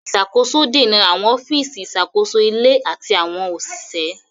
Ìṣàkóso dènà àwọn ọ́fíìsì ìṣàkóso ilé àti àwọn òṣìṣẹ́.